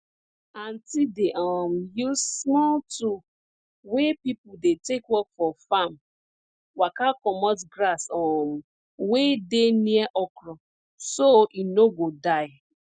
aunti dey um use small tool wey people dey take work for farm waka comot grass um wey dey near okro so e no go die